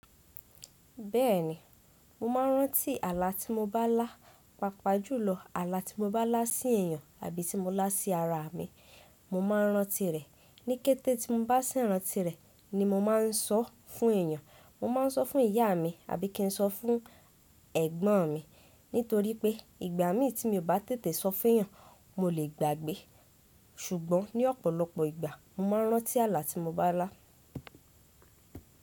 Bẹ́ẹ̀ni, mo máa ń rántí ààlà tí mo bá lá, papajulò ààlà tí mo bá lá sí èèyàn abí tí mo lá sí ara mi, mo máa ń rántí rẹ̀. Ní kété tí mo bá si ràntí rẹ̀ ni mo máa ń sọ fún èèyàn. Mo máa ń sọ fún ìyá mi abí kí n sọ fún ẹ̀gbọ́n mi nítorí pé ìgbà míì tí mi o bá tètè sọ fún èèyàn, mo lè gbàgbé. Sùgbọ́n ní ọ̀pọ̀lọpọ̀ ìgbà, mo máa ń rántí ààlà tí mo bá lá.